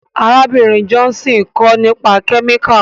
Arábìnrin Johnson ń kọ́ni nípa kẹ́míkà.